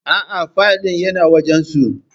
Aa, filay din yana wajan su